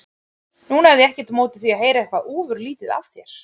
Nú hefði ég ekkert á móti því að heyra eitthvað ofurlítið af þér.